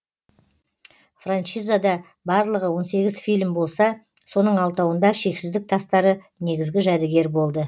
франшизада барлығы он сегіз фильм болса соның алтауында шексіздік тастары негізгі жәдігер болды